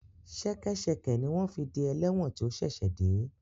Ṣẹkẹ́ṣẹkẹ̀ ni wọ́n fi de ẹlẹ́wọ̀n tí ó ṣẹ̀ṣẹ̀ dé